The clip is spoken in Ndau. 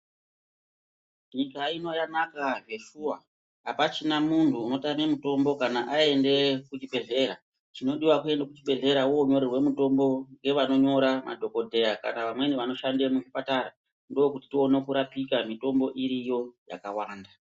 Nyika ino yanaka zveshuwa apachina muntu unotame mutombo kana aenda kuchibhedhlera, chinodiwa kuenda kuchibhedhlera wonyorerwa mutombo ngevanonyora madhokodheya kana vamweni vanoshande muzvipatara ndokuti tione kurapika mitombo iriyo yakawanda.